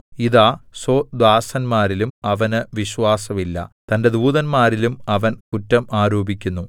ഇതാ സ്വദാസന്മാരിലും അവന് വിശ്വാസമില്ല തന്റെ ദൂതന്മാരിലും അവൻ കുറ്റം ആരോപിക്കുന്നു